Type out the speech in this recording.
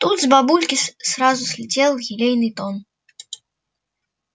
тут с бабульки сразу слетел елейный тон